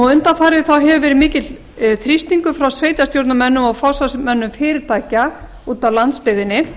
undanfarið hefur verið mikill þrýstingur frá sveitarstjórnarmönnum og forsvarsmönnum fyrirtækja úti á landsbyggðinni